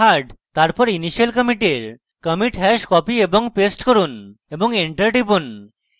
তারপর initial commit এর commit hash copy এবং paste করুন এবং enter টিপুন